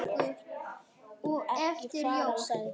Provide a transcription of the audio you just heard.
Ekki fara, sagði hún.